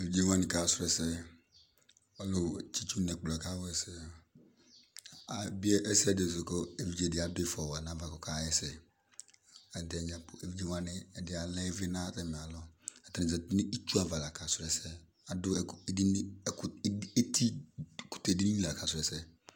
Evidze wani k'asrʋ ɛsɛ, ʋlʋ tsitsi n'ɛkplɔ yɛ ka wa ɛsɛ Ebie ɛsɛdi sʋ kʋ evidze di adʋ ifɔ wa n'ava k'ɔka hɛsɛ Evidze dini , ɛdi alɛ ivli n'atami alɔ, atani zati n'itsu ava lak'asru ɛsɛ, adʋ ɛk edini, ɛkʋtɛ edi, eti, ɛkʋtɛ dini lak'asrʋ ɛsɛ